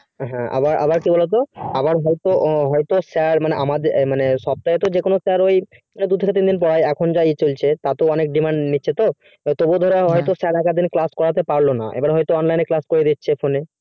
হ্যাঁ আবা আবার কি বলত তো আবার হয়তো হয়তো sir মানে আমাদের না মানে সপ্তাহে তো যে কোনো sir ওই দু থেকে তিন দিন দেয় এখন যা ই চলছে তাতেও অনেক demand নিচ্ছে তো তবুও ধরো sir একোদদিন class পারলো না এবার হয়তো online এ class করিয়ে দিচ্ছে